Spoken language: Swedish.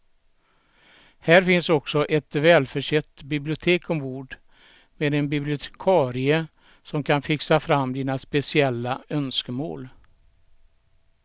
Här finns också ett välförsett bibliotek ombord med en bibliotekarie som kan fixa fram dina speciella önskemål.